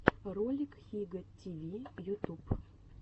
ролик хига ти ви ютуб